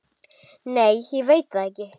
Nei ég veit það ekki.